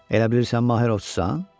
Elə bilirsən Mahirovçusan?